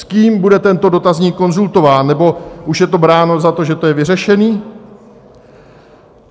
S kým bude tento dotazník konzultován, nebo už je to bráno za to, že je to vyřešené?